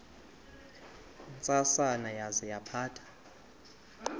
ntsasana yaza yaphatha